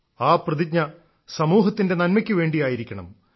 ആ പ്രതിജ്ഞ സമൂഹത്തിന്റെ നന്മയ്ക്കു വേണ്ടിയായിരിക്കണം